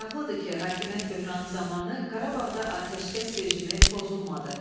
Maraqlıdır ki, hakimiyyət böhranı zamanı Qarabağda atəşkəs rejimi pozulmadı.